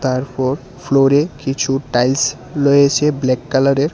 তারপর ফ্লোরে কিছু টাইলস লয়েছে ব্ল্যাক কালারের।